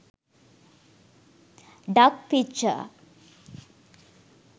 duck picture